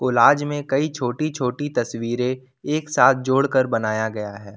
Collage में कई छोटी छोटी तस्वीरे एक साथ जोड़कर बनाया गया है।